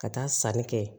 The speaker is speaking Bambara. Ka taa sanni kɛ